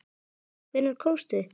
Hvenær komstu?